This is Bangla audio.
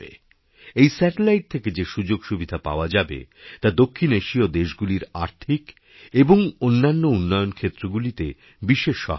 এই স্যাটেলাইট থেকে যে সুযোগসুবিধা পাওয়া যাবে তাদক্ষিণ এশীয় দেশগুলির আর্থিক এবং অন্যান্য উন্নয়নক্ষেত্রগুলিতে বিশেষ সহায়ক হবে